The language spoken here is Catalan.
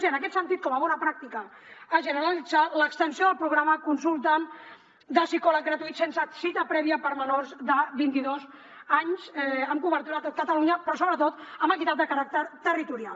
i en aquest sentit com a bona pràctica a generalitzar l’extensió del programa konsulta’m de psicòleg gratuït sense cita prèvia per a menors de vint i dos anys amb cobertura a tot catalunya però sobretot amb equitat de caràcter territorial